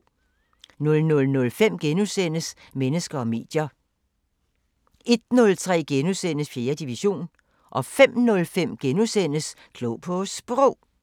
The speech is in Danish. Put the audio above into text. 00:05: Mennesker og medier * 01:03: 4. division * 05:03: Klog på Sprog *